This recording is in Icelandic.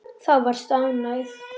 Þá varstu ánægð.